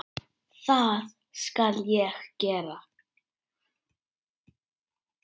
Það skal ég gera.